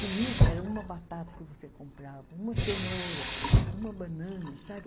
Comida era uma batata que você comprava, uma cenoura, uma banana, sabe?